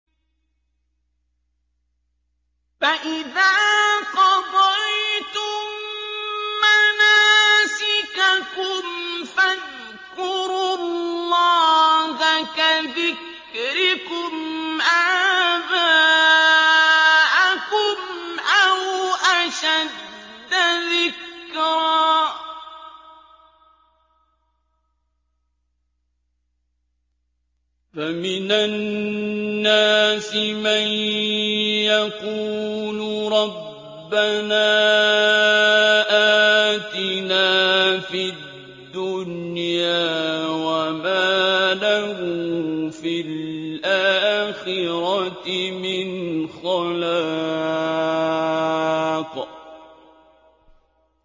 فَإِذَا قَضَيْتُم مَّنَاسِكَكُمْ فَاذْكُرُوا اللَّهَ كَذِكْرِكُمْ آبَاءَكُمْ أَوْ أَشَدَّ ذِكْرًا ۗ فَمِنَ النَّاسِ مَن يَقُولُ رَبَّنَا آتِنَا فِي الدُّنْيَا وَمَا لَهُ فِي الْآخِرَةِ مِنْ خَلَاقٍ